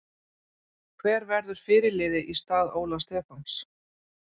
Hver verður fyrirliði í stað Óla Stefáns?